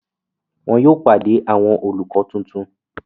Wọn yóò pàdé àwọn olùkọ tuntun.